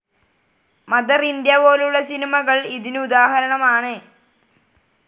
Mother India പോലുള്ള സിനിമകൾ ഇതിനു ഉദാഹരണം ആണ്.